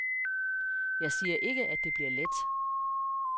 Jeg siger ikke, at det blivet let.